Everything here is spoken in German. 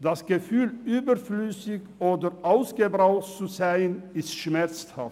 Das Gefühl, überflüssig oder «aufgebraucht» zu sein, ist schmerzhaft.